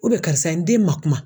karisa n den ma kuma